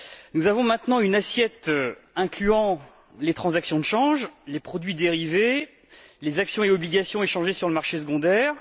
Nous avons maintenant une assiette incluant les transactions de change, les produits dérivés, les actions et obligations échangées sur le marché secondaire.